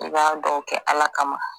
I b'a dɔw kɛ Ala kama